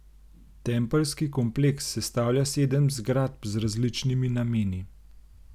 Tempeljski kompleks sestavlja sedem zgradb z različnimi nameni.